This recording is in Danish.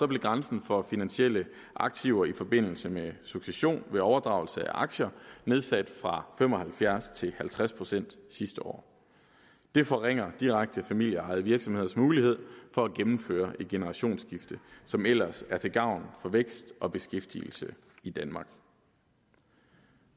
blev grænsen for finansielle aktiver i forbindelse med succession ved overdragelse af aktier nedsat fra fem og halvfjerds procent til halvtreds procent sidste år det forringer direkte familieejede virksomheders mulighed for at gennemføre et generationsskifte som ellers er til gavn for vækst og beskæftigelse i danmark